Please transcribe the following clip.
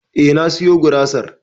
Eh na siyo gurasar